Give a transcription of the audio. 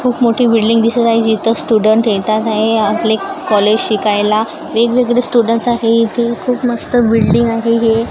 खूप मोठी बिल्डिंग दिसत आहे जिथं स्टूडंट येतात आहे आपले कॉलेज शिकायला वेगवेगळे स्टुडंट्स आहे इथे खूप मस्त बिल्डिंग आहे हे.